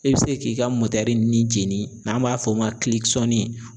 E bi se k'i ka ni jeni n'an b'a f'o ma